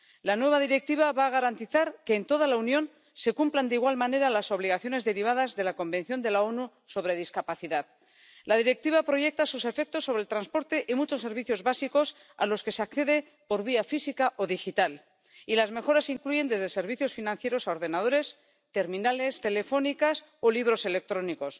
La nueva Directiva va a garantizar que en toda la Unión se cumplan de igual manera las obligaciones derivadas de la Convención de las Naciones Unidas sobre los Derechos de las Personas con Discapacidad. La Directiva proyecta sus efectos sobre el transporte y muchos servicios básicos a los que se accede por vía física o digital, y las mejoras incluyen desde servicios financieros a ordenadores, terminales telefónicas o libros electrónicos.